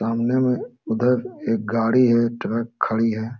सामने में उधर एक गाड़ी है ट्रक खड़ी है।